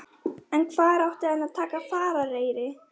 Hafði að eigin sögn afskaplega gott minni.